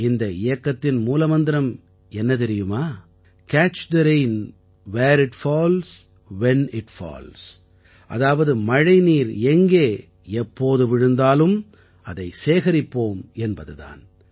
இந்த இயக்கத்தின் மூல மந்திரம் என்ன தெரியுமா catch the rain where it falls when it falls அதாவது மழைநீர் எங்கே எப்போது விழுந்தாலும் அதை சேகரிப்போம் என்பது தான்